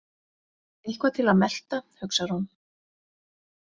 Eitthvað til að melta, hugsar hún.